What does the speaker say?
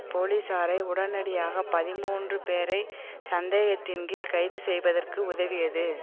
போலீசாரை உடனடியாக பதிமூன்று பேரை சந்தேகத்தின்கீழ் கைதுசெய்வதற்கு உதவியது